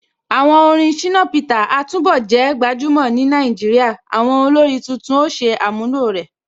Àwọn orin Shina Peter a túnbọ̀ jẹ́ gbajúmọ̀ ni Nàìjíríà, àwọn olórin títún ó ṣe àmúlò ẹ̀.